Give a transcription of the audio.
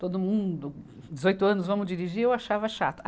Todo mundo, dezoito anos, vamos dirigir, eu achava chato.